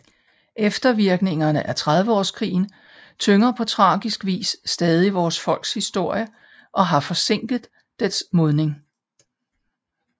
Eftervirkningerne af Trediveårskrigen tynger på tragisk vis stadig vores folks historie og har forsinket dets modning